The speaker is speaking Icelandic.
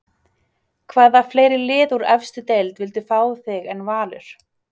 Hvaða fleiri lið úr efstu deild vildu fá þig en Valur?